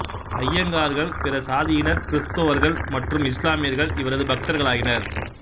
ஐயங்கார்கள் பிற சாதியினர் கிறிஸ்துவர்கள் மற்றும் இஸ்லாமியர்கள் இவரது பக்தர்களாயினர்